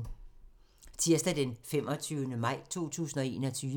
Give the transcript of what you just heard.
Tirsdag d. 25. maj 2021